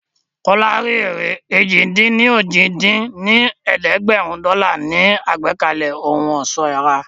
Kọ́lá rí èrè èjì-dín-ní-ojì dín ní ẹ̀ẹ́dẹ́gbẹ́rún dọ́là nínú àgbékalẹ̀ ohun ọ̀ṣọ́ ara